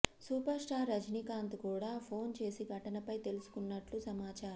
super star Rajinikanth కూడా phone చేసి ఘటనపై తెలుసుకున్నట్లు సమాచారం